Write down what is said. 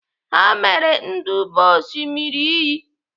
Ha mere nduba n'Osimiri iyi.